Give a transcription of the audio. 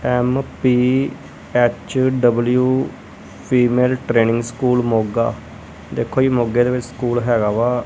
M P H W female training school Moga ਦੇਖੋ ਜੀ ਮੋਗੇ ਦੇ ਵਿਚ ਸਕੂਲ ਹੈਗਾ ਵਾ। M P H W female training school Moga ਦੇਖੋ ਜੀ ਮੋਗੇ ਦੇ ਵਿਚ ਸਕੂਲ ਹੈਗਾ ਵਾ।